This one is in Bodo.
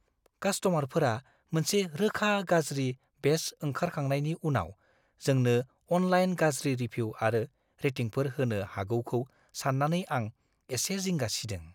कास्ट'मारफोरा मोनसे रोखा गाज्रि बेच ओंखारखांनायनि उनाव जोंनो अनलाइन गाज्रि रिभिउ आरो रेटिंफोर होनो हागौखौ सान्नानै आं एसे जिंगा सिदों।